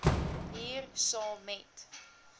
hier saam met